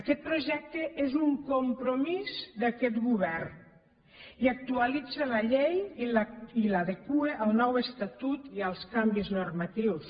aquest projecte és un compromís d’aquest govern i actualitza la llei i l’adequa al nou estatut i als canvis normatius